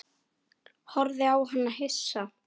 Horfði á hana hissa.